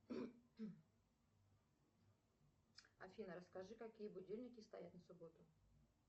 афина расскажи какие будильники стоят на субботу